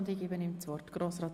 Ich übergebe ihm das Wort.